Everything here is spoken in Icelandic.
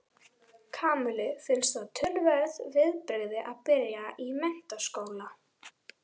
Kamillu fannst það töluverð viðbrigði að byrja í menntaskóla.